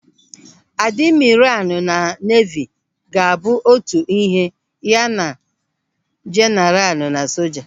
Adimiralu na neevi ga-abụ otu ihe ya na jeenaralu na soja.